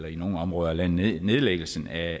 i nogle områder af landet nedlæggelsen af